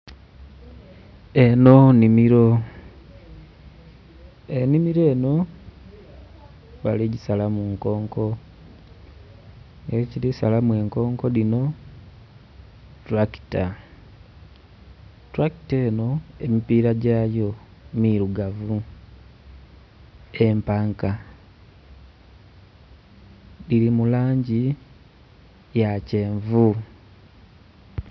Enho nnhimilo. Ennhimilo enho bali gisalamu nkonko. Nga ekili salamu enkonko dhinho tulakita. Tulakita eno emipiira gyayo milugavu, empanka dhili mu langi ya kyenvu